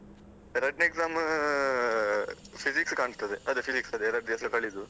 ರಡ್ನೆ exam Physics ಕಾಣ್ತದೆ ಅದೆ Physics ಎರಡ್ ದಿವಸ ಕಳೆದು.